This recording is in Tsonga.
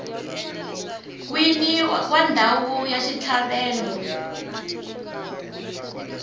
wini wa ndhawu ya xitlhavelo